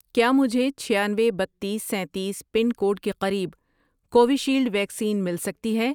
کیا مجھے چھیانوے، بتیس، سینتیس، پن کوڈ کے قریب کووِشیلڈ ویکسین مل سکتی ہے